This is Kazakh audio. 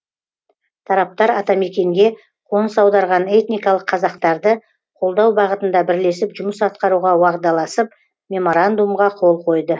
тараптар атамекенге қоныс аударған этникалық қазақтарды қолдау бағытында бірлесіп жұмыс атқаруға уағдаласып меморандумға қол қойды